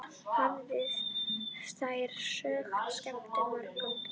Hafa þær sögur skemmt mörgum.